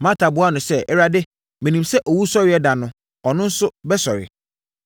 Marta buaa no sɛ, “Awurade, menim sɛ owusɔreɛ da no ɔno nso bɛsɔre.”